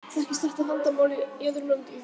Þekkist þetta vandamál í öðrum löndum?